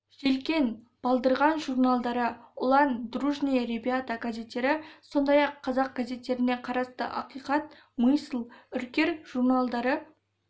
желкен балдырған журналдары ұлан дружные ребята газеттері сондай-ақ қазақ газеттеріне қарасты ақиқат мысль үркер журналдары